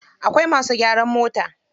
Akwai masu gyaran mota.